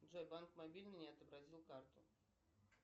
джой банк мобильный не отобразил карту